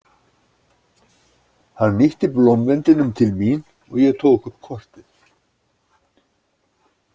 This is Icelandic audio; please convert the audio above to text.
Hann ýtti blómvendinum til mín og ég tók upp kortið.